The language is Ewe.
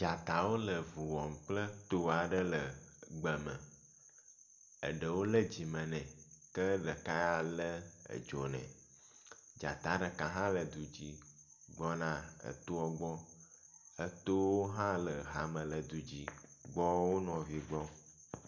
Dzatawo le vu wɔm kple to aɖe le gbe me. Eɖewo le dzime nɛ ke ɖeka le edzo nɛ. Dzata ɖeka hã le du dzi gbɔna etoa gbɔ. Etowo hã le hame le du dzi gbɔ wo nɔvi gbɔ.